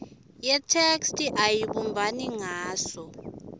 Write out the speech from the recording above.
yetheksthi ayibumbani ngaso